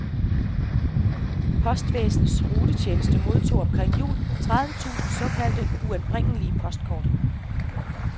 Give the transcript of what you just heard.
Postvæsenets returtjeneste modtog omkring jul tredive tusind såkaldt uanbringelige postkort.